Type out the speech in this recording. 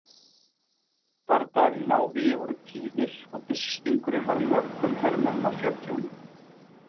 Bardagar í návígi voru tíðir og byssustingurinn varð mörgum hermönnum að fjörtjóni.